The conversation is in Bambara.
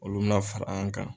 Olu bɛna fara an kan.